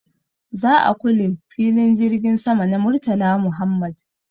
Za a kule filin jirgin sama na Murtala Muhammad.